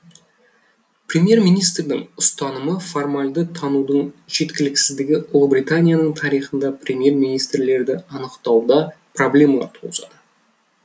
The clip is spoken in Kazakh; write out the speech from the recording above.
премьер министрдің ұстанымын формальды танудың жеткіліксіздігі ұлыбританияның тарихында премьер министрлерді анықтауда проблемалар туғызады